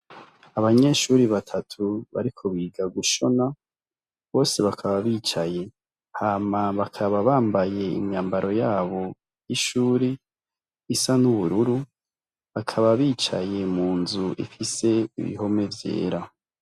Abanyeshure batatu bariko biga gushona, bose bakaba bicaye. Hama bakaba bambaye imyambaro yabo y'ishure isa nubururu, bakaba bicaye munzu ifise ibihome vyera.